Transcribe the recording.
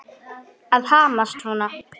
Að hamast svona.